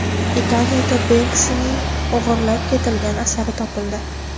Italiyada Benksining o‘g‘irlab ketilgan asari topildi.